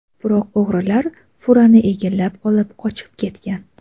Biroq, o‘g‘rilar furani egallab, olib qochib ketgan.